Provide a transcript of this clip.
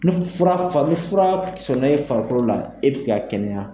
Ni fura fa ni fura sɔnna e farikolo la e bɛ se k'a kɛnɛya.